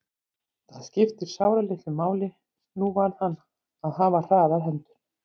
Það skipti sáralitlu máli, nú varð hann að hafa hraðar hendur.